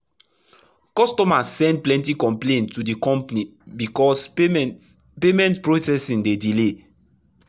customers send plenty complaints to the company because payment payment processing dey delay.